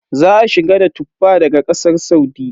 Za a shigo da Tuffa daga Ƙasar Saudi.